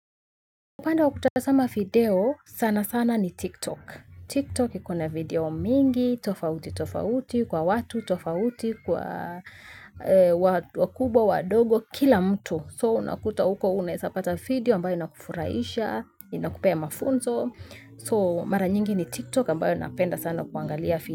Upenda wakutasama video sana sana ni tiktok. Tiktok ikona video mingi, tofauti, tofauti. Kwa watu, tofauti, kwa wakubwa, wadogo, kila mtu. So unakuta uko unaesapata video ambayo inakufurahisha, inakupea mafunzo. So mara nyingi ni tiktok ambayo napenda sana kuangalia video.